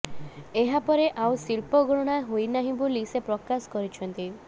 ଏହାପରେ ଆଉ ଶିଳ୍ପ ଗଣନା ହୋଇନାହିଁ ବୋଲି ସେ ପ୍ରକାଶ କରିଛନ୍ତି